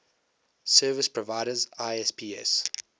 service providers isps